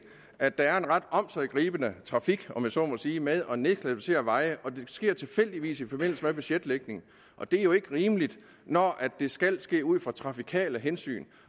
at der er en ret omsiggribende trafik om jeg så må sige med at nedkvalificere veje og det sker tilfældigvis i forbindelse med budgetlægningen det er jo ikke rimeligt når det skal ske ud fra trafikale hensyn